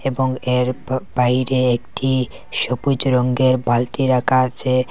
এবং এর ব বাইরে একটি সবুজ রঙ্গের বালটি রাখা আছে।